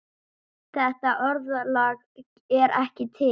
Þetta orðalag er ekki til.